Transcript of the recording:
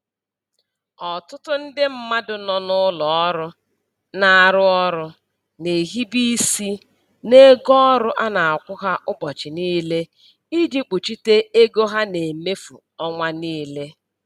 Ọtụtụ ndị mmadụ nọ n'ụlọ ọrụ na-arụ ọrụ na-ehibe isi n'ego ọrụ a na-akwụ ha ụbọchị niile iji kpuchite ego ha na-emefu ọnwa niile.